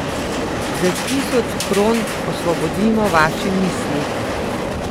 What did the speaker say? Za tisoč kron osvobodimo vaše misli.